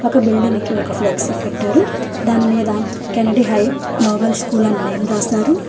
ఒక బిల్డింగ్ కి ఒక ఫ్లెక్సీ కట్టారు దానిమీద Kennedy High Global School and name రాశారు.